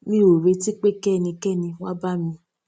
mi ò retí pé kí ẹnikẹni wá bá mi